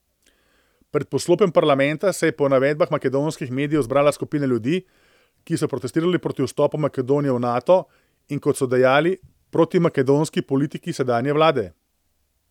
Pred poslopjem parlamenta se je po navedbah makedonskih medijev zbrala skupina ljudi, ki so protestirali proti vstopu Makedonije v Nato in, kot so dejali, protimakedonski politiki sedanje vlade.